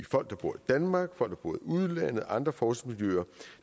folk der bor i danmark folk udlandet og andre forskningsmiljøer